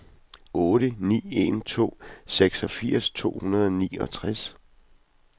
otte ni en to seksogfirs to hundrede og niogtres